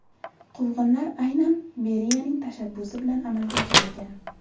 Quvg‘inlar aynan Beriyaning tashabbusi bilan amalga oshirilgan.